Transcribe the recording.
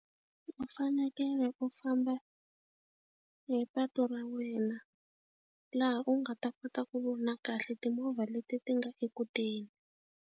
U fanekele u famba hi patu ra wena laha u nga ta kota ku vona kahle timovha leti ti nga eku teni.